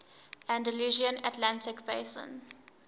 andalusian atlantic basin